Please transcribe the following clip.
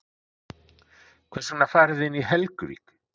Hvers vegna farið þið inn í Helguvík?